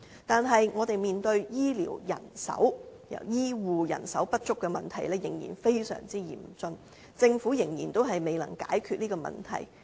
但是，我們面對醫護人手不足的問題仍然非常嚴峻，政府仍然未能解決這個問題。